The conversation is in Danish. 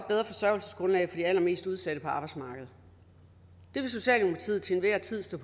bedre forsørgelsesgrundlag for de allermest udsatte på arbejdsmarkedet det vil socialdemokratiet til enhver tid stå